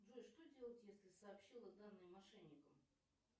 джой что делать если сообщила данные мошенникам